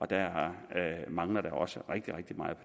der mangler også rigtig rigtig meget